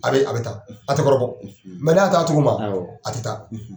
A be a bɛ taa, a tɛ kɔrɔbɔ, , n'a y'a to a cogo ma, awɔ, a tɛ taa.